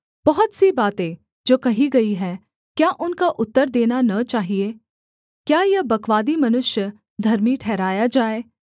बहुत सी बातें जो कही गई हैं क्या उनका उत्तर देना न चाहिये क्या यह बकवादी मनुष्य धर्मी ठहराया जाए